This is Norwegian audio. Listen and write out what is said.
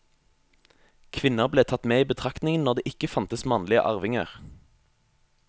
Kvinner ble tatt med i betraktningen når det ikke fantes mannlige arvinger.